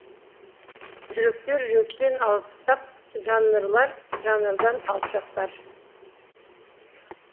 жүректер жүректен алыстап жанрлар жанардан алшақтар